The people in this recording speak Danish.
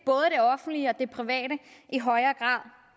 offentlige og det private i højere grad